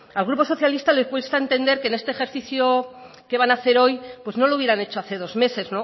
al grupo socialista le cuesta entender que este ejercicio que van a hacer hoy no lo hubieran hecho hace dos meses